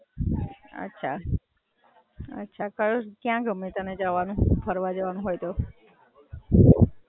અચ્છા, કયા ગમે તને જવાનું, ફરવા જવાનું હોય તો?